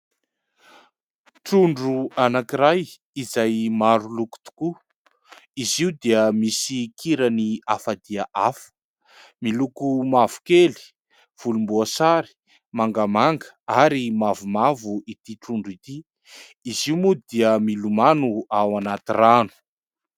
Trondro anankiray izay maroloko tokoa. Izy io dia misy kirany hafa dia hafa miloko mavokely, volomboasary, mangamanga ary mavomavo ity trondro ity ; izy io moa dia milomano ao anaty rano.